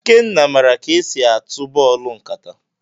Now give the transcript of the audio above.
Ikenna maara ka e si atụ bọọlụ nkata.